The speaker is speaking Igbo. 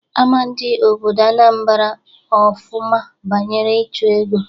Ama ndị obodo Anambra ofụma banyere ịchụ ego.